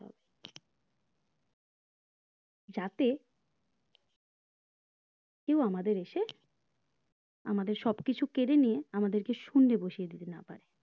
যাতে কেও আমাদের এসে আমাদের সবকিছু কেড়ে নিয়ে আমাদের শুন্যে বসিয়ে দিতে না পারে